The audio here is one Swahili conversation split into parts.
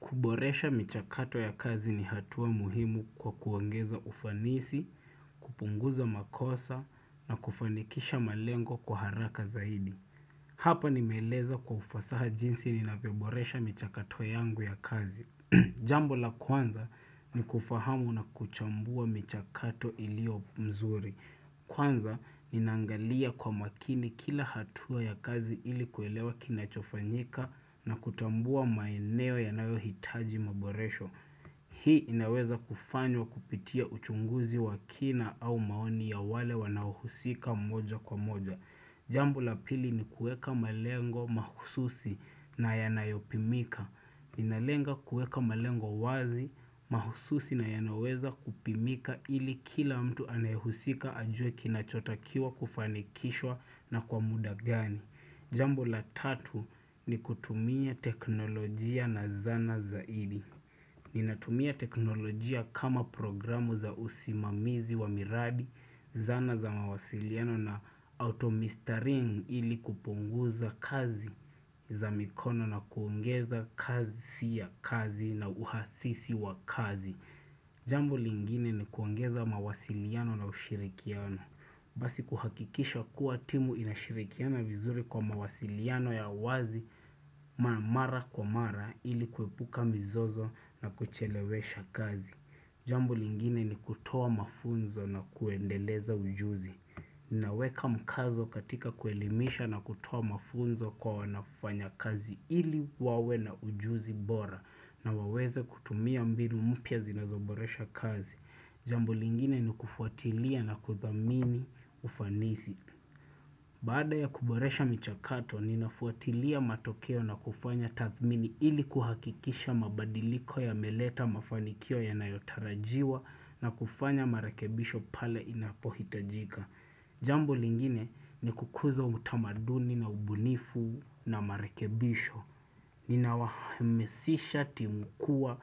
Kuboresha michakato ya kazi ni hatua muhimu kwa kuongeza ufanisi, kupunguza makosa na kufanikisha malengo kwa haraka zaidi. Hapa nimeeleza kwa ufasaha jinsi ninavyo boresha michakato yangu ya kazi. Jambo la kwanza ni kufahamu na kuchambua michakato ilio mzuri. Kwanza, ninaangalia kwa makini kila hatua ya kazi ili kuelewa kinachofanyika na kutambua maeneo yanayo hitaji maboresho. Hii inaweza kufanywa kupitia uchunguzi wa kina au maoni ya wale wanaohusika moja kwa moja. Jambo la pili ni kueka malengo mahususi na yanayopimika. Ninalenga kuweka malengo wazi, mahususi na yanoweza kupimika ili kila mtu anayehusika ajue kinachotakiwa kufanikishwa na kwa muda gani. Jambo la tatu ni kutumia teknolojia na zana zaidi. Ninatumia teknolojia kama programu za usimamizi wa miradi, zana za mawasiliano na automistering ili kupunguza kazi za mikono na kuongeza kasi ya kazi na uhasisi wa kazi. Jambo lingine ni kuongeza mawasiliano na ushirikiano. Basi kuhakikisha kuwa timu inashirikiana vizuri kwa mawasiliano ya wazi mara kwa mara ili kuepuka mizozo na kuchelewesha kazi. Jambo lingine ni kutoa mafunzo na kuendeleza ujuzi. Ninaweka mkazo katika kuelimisha na kutoa mafunzo kwa wanaofanya kazi ili wawe na ujuzi bora na waweza kutumia mbinu mpya zinazoboresha kazi. Jambu lingine ni kufuatilia na kuthamini ufanisi. Baada ya kuboresha mchakato, ninafuatilia matokeo na kufanya tathmini ili kuhakikisha mabadiliko yameleta mafanikio yanayotarajiwa na kufanya marekebisho pale inapohitajika. Jambo lingine ni kukuza utamaduni na ubunifu na marekebisho. Nina wahamasisha timu kuwa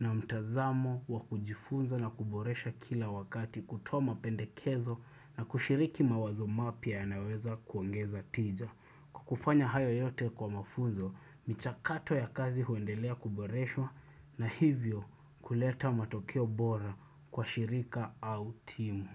na mtazamo wa kujifunza na kuboresha kila wakati kutoa mapendekezo na kushiriki mawazo mapya yanayoweza kuongeza tija. Kufanya hayo yote kwa mafunzo, michakato ya kazi huendelea kuboreshwa na hivyo kuleta matokeo bora kwa shirika au timu.